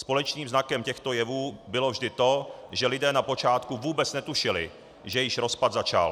Společným znakem těchto jevů bylo vždy to, že lidé na počátku vůbec netušili, že již rozpad začal.